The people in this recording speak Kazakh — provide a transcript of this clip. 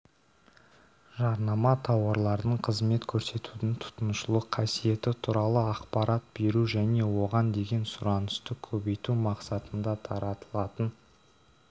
жарнама тауарлардың қызмет көрсетудің тұтынушылық қасиеті туралы ақпарат беру және оған деген сұранысты көбейту мақсатында таратылатын